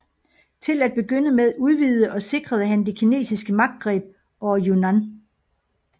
Til at begynde med udvidede og sikrede han det kinesiske magtgreb over Yunan